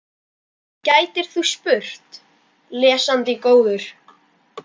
gætir þú spurt, lesandi góður.